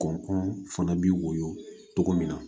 Kɔn fana bɛ woyɔ cogo min na